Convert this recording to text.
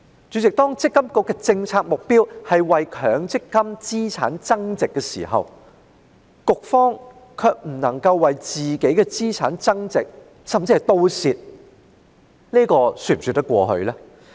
"主席，積金局的政策目標是為強積金資產增值，卻不能夠為自己的資產增值，甚至弄得賠本，這是否說得通呢？